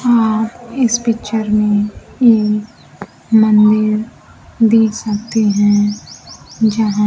आप इस पिक्चर में एक मंदिर देख सकते हैं जहां--